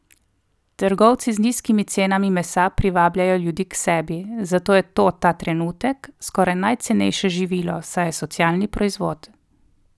Trgovci z nizkimi cenami mesa privabljajo ljudi k sebi, zato je to ta trenutek skoraj najcenejše živilo, saj je socialni proizvod.